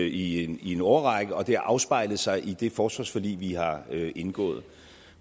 i en årrække og det har afspejlet sig i det forsvarsforlig vi har indgået